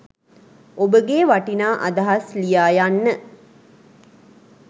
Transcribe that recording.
ඔබගේ වටිනා අදහස් ලියා යන්න